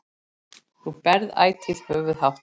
Þú berð ætíð höfuð hátt.